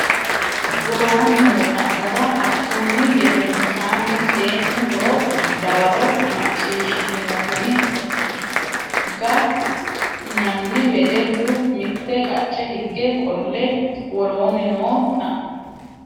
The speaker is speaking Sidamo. woroonni noo xa mora Hakkunni gedensaanni seennu hore dawaro macciishshitinoonni ga nanna wedellu mitte qacce higge qolle woroonni noo xa.